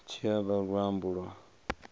tshi o vha luambo lwa